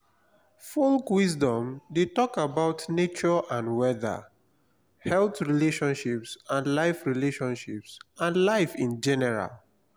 folk wisdom de talk about nature and weather health relationships and life relationships and life in general